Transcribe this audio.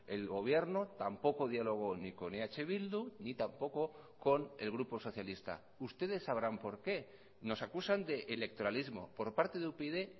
el gobierno tampoco dialogó ni con eh bildu ni tampoco con el grupo socialista ustedes sabrán por qué nos acusan de electoralismo por parte de upyd